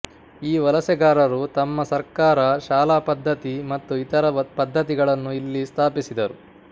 ಈ ವಲಸೆಗಾರರು ತಮ್ಮ ಸರ್ಕಾರ ಶಾಲಾಪದ್ಧತಿ ಮತ್ತು ಇತರ ಪದ್ಧತಿಗಳನ್ನು ಇಲ್ಲಿ ಸ್ಥಾಪಿಸಿದರು